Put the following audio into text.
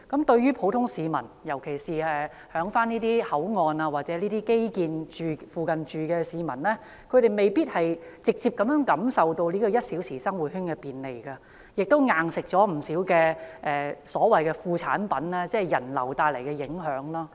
對於普通市民，尤其是在這些口岸或基建附近居住的市民，他們未必直接感受到"一小時生活圈"的便利，卻已"硬食"了不少所謂"副作用"，即人流增加帶來的影響。